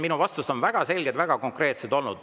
Minu vastused on olnud väga selged, väga konkreetsed.